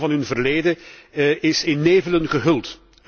Een deel van hun verleden is in nevelen gehuld.